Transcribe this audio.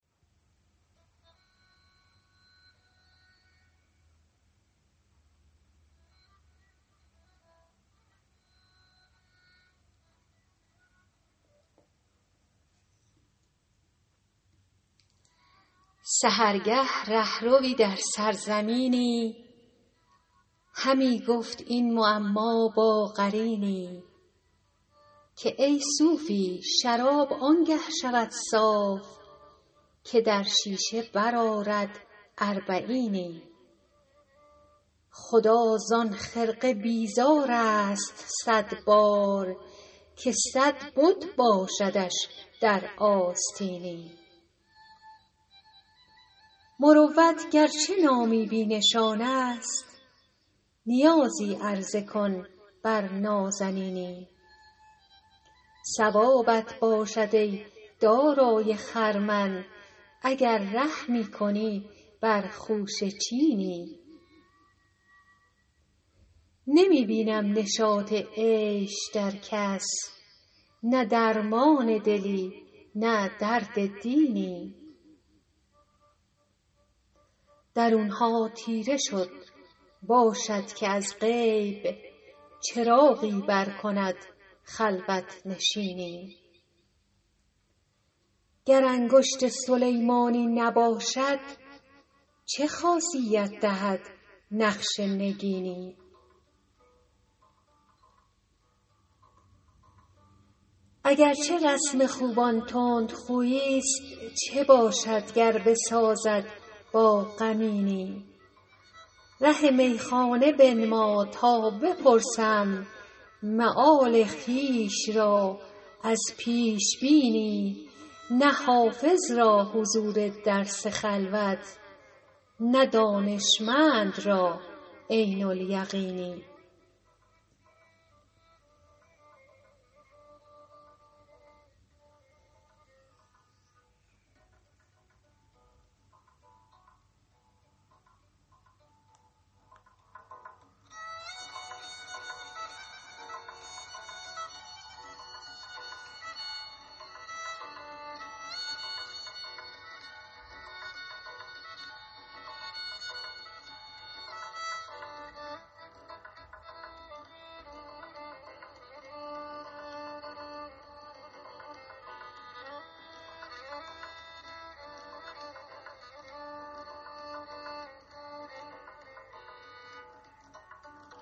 سحرگه ره ‎روی در سرزمینی همی گفت این معما با قرینی که ای صوفی شراب آن گه شود صاف که در شیشه برآرد اربعینی خدا زان خرقه بیزار است صد بار که صد بت باشدش در آستینی مروت گر چه نامی بی نشان است نیازی عرضه کن بر نازنینی ثوابت باشد ای دارای خرمن اگر رحمی کنی بر خوشه چینی نمی بینم نشاط عیش در کس نه درمان دلی نه درد دینی درون ها تیره شد باشد که از غیب چراغی برکند خلوت نشینی گر انگشت سلیمانی نباشد چه خاصیت دهد نقش نگینی اگر چه رسم خوبان تندخویی ست چه باشد گر بسازد با غمینی ره میخانه بنما تا بپرسم مآل خویش را از پیش بینی نه حافظ را حضور درس خلوت نه دانشمند را علم الیقینی